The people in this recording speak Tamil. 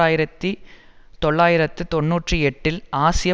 ஆயிரத்தி தொள்ளாயிரத்து தொன்னூற்றி எட்டில் ஆசிய